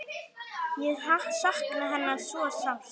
Ég sakna hennar svo sárt.